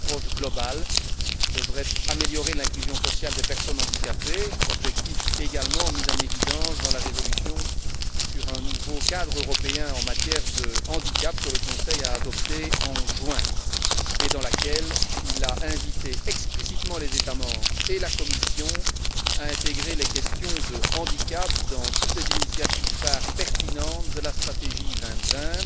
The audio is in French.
Cette approche globale devrait améliorer l'inclusion sociale des personnes handicapées, objectif également mis en évidence dans la résolution sur un nouveau cadre européen en matière de handicap que le Conseil a adoptée en juin et dans laquelle il a invité explicitement les États membres et la Commission à intégrer les questions de handicap dans toutes les initiatives phares pertinentes de la stratégie 2020